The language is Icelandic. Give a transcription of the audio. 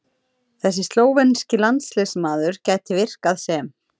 Þessi slóvenski landsliðsmaður gæti virkað sem